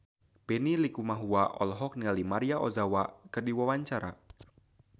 Benny Likumahua olohok ningali Maria Ozawa keur diwawancara